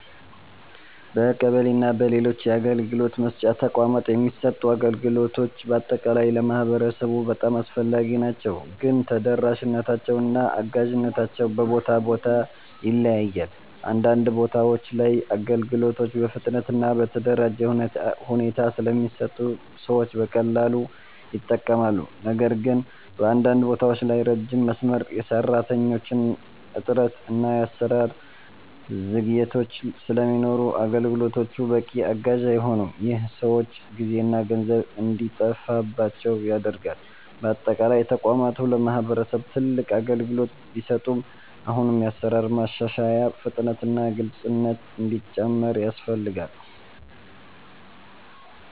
በቀበሌ እና በሌሎች የአገልግሎት መስጫ ተቋማት የሚሰጡ አገልግሎቶች በአጠቃላይ ለማህበረሰቡ በጣም አስፈላጊ ናቸው፣ ግን ተደራሽነታቸው እና አጋዥነታቸው በቦታ ቦታ ይለያያል። አንዳንድ ቦታዎች ላይ አገልግሎቶች በፍጥነት እና በተደራጀ ሁኔታ ስለሚሰጡ ሰዎች በቀላሉ ይጠቀማሉ። ነገር ግን በአንዳንድ ቦታዎች ላይ ረጅም መስመር፣ የሰራተኞች እጥረት እና የአሰራር ዘግይቶች ስለሚኖሩ አገልግሎቶቹ በቂ አጋዥ አይሆኑም። ይህ ሰዎች ጊዜና ገንዘብ እንዲጠፋባቸው ያደርጋል። በአጠቃላይ ተቋማቱ ለማህበረሰብ ትልቅ አገልግሎት ቢሰጡም አሁንም የአሰራር ማሻሻያ፣ ፍጥነት እና ግልፅነት እንዲጨምር ያስፈልጋል።